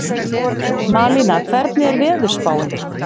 Malína, hvernig er veðurspáin?